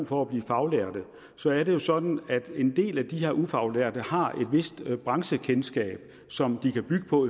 for at blive faglærte så er det jo sådan at en del af de her ufaglærte har et vist branchekendskab som de kan bygge på